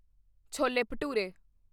chole bhature